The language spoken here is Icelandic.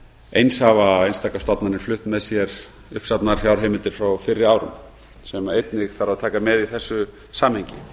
eins hafa einstaka stofnanir flutt með sér uppsafnaðar fjárheimildir frá fyrri árum sem einnig þarf að taka með í þessu samhengi